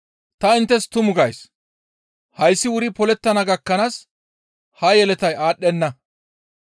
«Ta inttes tumu gays; hayssi wuri polettana gakkanaas ha yeletay aadhdhenna.